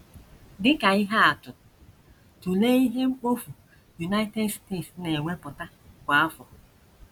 Dị ka ihe atụ, tụlee ihe mkpofu United States na - ewepụta kwa afọ.